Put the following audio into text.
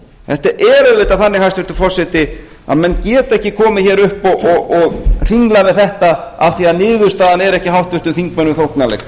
þetta er auðvitað þannig hæstvirtur forseti að menn geta ekki komið hér upp og hringlað með þetta af því að niðurstaðan er ekki háttvirtum þingmönnum þóknanleg